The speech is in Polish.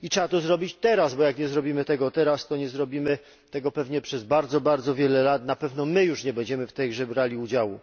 Trzeba to zrobić teraz, bo jeśli nie zrobimy tego teraz, to nie zrobimy tego pewnie przez bardzo wiele lat, i na pewno my nie będziemy już w tej grze brali udziału.